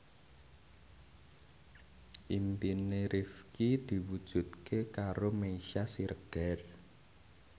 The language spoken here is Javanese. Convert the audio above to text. impine Rifqi diwujudke karo Meisya Siregar